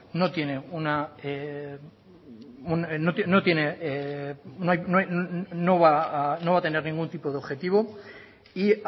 no va a tener ningún tipo de objetivo y